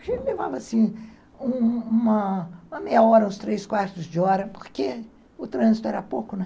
A gente levava, assim, uma uma meia hora, uns três quartos de hora, porque o trânsito era pouco, né?